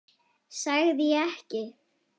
Sagði ég ekki!